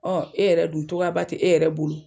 Ɔ e yɛrɛ dun tɔgɔyaba te e yɛrɛ bolo